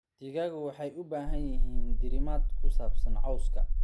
Digaagga waxay u baahan yihiin diirimaad ku saabsan cowska.